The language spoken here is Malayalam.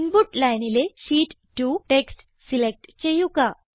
ഇൻപുട്ട് Lineലെ ഷീറ്റ് 2 ടെക്സ്റ്റ് സിലക്റ്റ് ചെയ്യുക